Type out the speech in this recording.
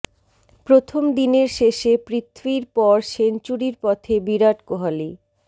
প্রথম দিনের শেষে পৃথ্বীর পর সেঞ্চুরির পথে বিরাট কোহালি